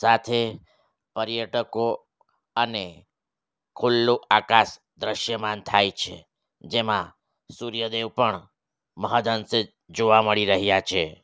સાથે પર્યટકો અને ખુલ્લુ આકાશ દ્રશ્યમાન થાય છે જેમાં સૂર્યદેવ પણ મહદ્અંશે જોવા મળી રહ્યા છે.